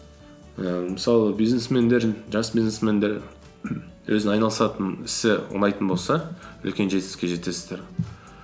ііі мысалы бизнесмендер жас бизнесмендер өзінін айналысатын ісі ұнайтын болса үлкен жетістікке жетесіздер